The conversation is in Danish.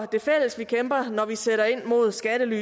det fælles vi kæmper når vi sætter ind mod skattely